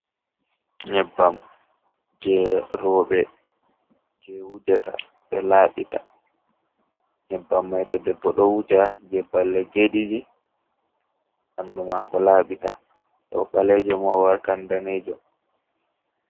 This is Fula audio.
Nyabbam je roɓe je wujata ɓe laɓita nyabbam man to debbo ɗo wuja je balɗe je ɗiɗi bandu mako laɓata to o balejo ma o wartan danejo